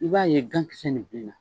I b'a ye gankisɛ in b'i na.